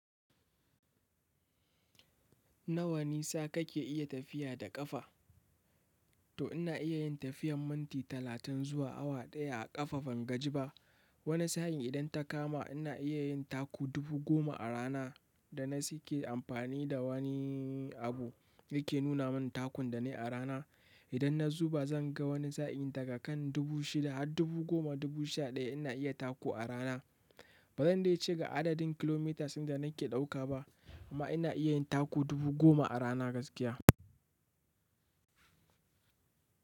Nawa nisa kake iya tafiya da ƙafa? To ina iya yin tafiyan minti talatin zuwa awa ɗaya a ƙafa ban gaji ba wani sa'in idan ta kama ina iya yin taku dubu goma a rana da na sa ke amfani da wani abu yake nuna mun takun da na yi a rana. Idan na zuba zan ga wani sa'in daga kan dubu shida har dubu goma dubu sha ɗaya ina iya taku a rana. Ba zan dai ce ga adadin kilomitas da nake ɗauka ba amma ina iya taku dubu goma a rana gaskiya.